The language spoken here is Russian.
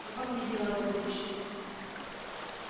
какое мне дело до будущего